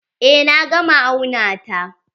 Eh na gama auna ta.